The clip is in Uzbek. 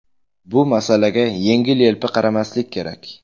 Bu masalaga yengil-yelpi qaramaslik kerak.